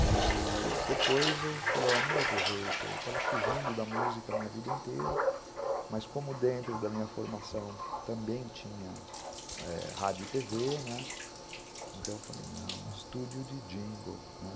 E depois eu falei, não vai ter jeito, eu estava fugindo da música a minha vida inteira, mas como dentro da minha formação também tinha rádio e tê vê, né, então eu falei, não, estúdio de jingle, né.